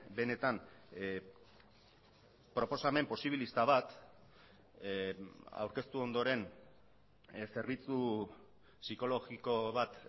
benetan proposamen posibilista bat aurkeztu ondoren zerbitzu psikologiko bat